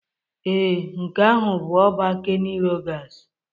Ee, nke ahụ bụ ọba Kenny Rogers